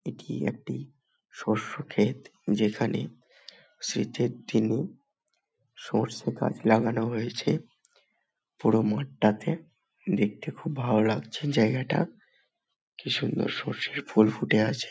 এটি একটি শস্য ক্ষেত যেখানে শীতের দিনে সর্ষে গাছ লাগানো হয়েছে পুরো মাঠটাতে দেখতে খুব ভালো লাগছে জায়গাটা কি সুন্দর সর্ষের ফুল ফুটে আছে ।